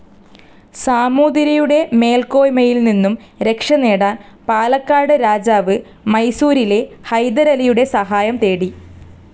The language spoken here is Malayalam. സമൂതിരിയുടെ മേൽക്കൊയ്മയിൽ നിന്നും രക്ഷ നേടാൻ പാലക്കാട്‌ രാജാവ്‌ മൈസൂരിലെ ഹൈദരലിയുടെ സഹായം തേടി.